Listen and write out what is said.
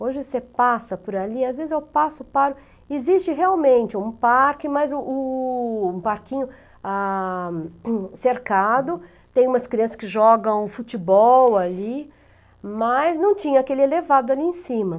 Hoje você passa por ali, às vezes eu passo, paro, existe realmente um parque, mas um um parquinho ah, cercado, tem umas crianças que jogam futebol ali, mas não tinha aquele elevado ali em cima.